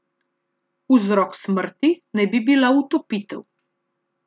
Vzrok smrti naj bi bila utopitev.